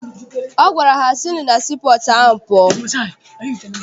Ọ gwara ha, sinụ na sii pọọtụ ahụ pụọ!